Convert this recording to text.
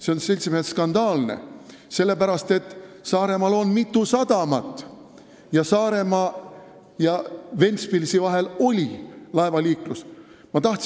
See on, seltsimehed, skandaalne, sellepärast et Saaremaal on mitu sadamat ning Saaremaa ja Ventspilsi vahel on laevaliiklus olnud.